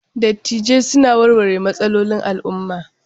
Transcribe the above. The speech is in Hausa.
Dattijai suna warware matsalolin al'umma.